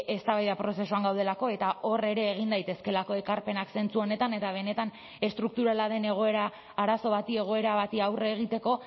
eztabaida prozesuan gaudelako eta hor ere egin daitezkeelako ekarpenak zentzu honetan eta benetan estrukturala den egoera arazo bati egoera bati aurre egiteko